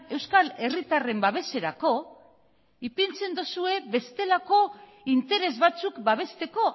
euskal herritarren babeserako ipintzen duzue bestelako interes batzuk babesteko